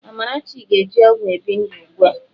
Amarachi na-eji ọgwụ ebi ndụ ugbu a